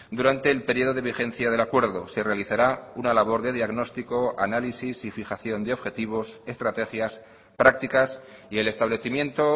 durante el periodo de vigencia del acuerdo se realizará una labor de diagnóstico análisis y fijación de objetivos estrategias prácticas y el establecimiento